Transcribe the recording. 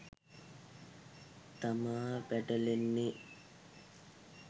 තමා පැටලෙන්නේ